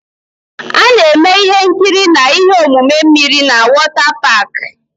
A na-eme ihe nkiri na ihe omume mmiri na wọtá páák